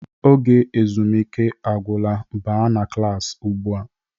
Oge ezumike agwụla, baa n'klas ụgbụa!